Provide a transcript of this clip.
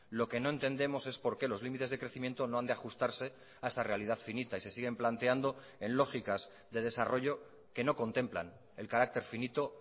lo que no entendemos es por qué los límites de crecimiento no han de ajustarse a esa realidad finita y se siguen planteando en lógicas de desarrollo que no contemplan el carácter finito